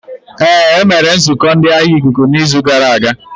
Ee, e mere nzukọ ndi agha ikuku n'izu gara aga.